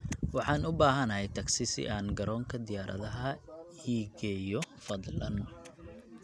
Waxaan u baahanahay tagsi si aan garoonka diyaaradaha ii geeyo fadlan